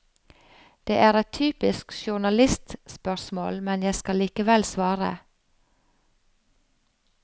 Det er et typisk journalistspørsmål, men jeg skal likevel svare.